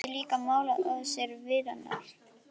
Hún hafði líka málað á sér varirnar.